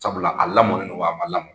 Sabula la, a lamɔnnen wa? A ma lamɔn ?